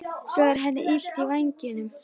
Svo er henni illt í vængnum.